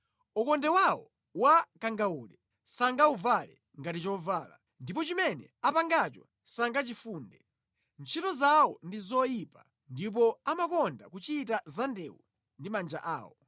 Ukonde wawo wa kangawude sangawuvale ngati chovala; ndipo chimene apangacho sangachifunde. Ntchito zawo ndi zoyipa, ndipo amakonda kuchita zandewu ndi manja awo.